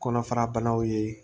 Kɔnɔfara banaw ye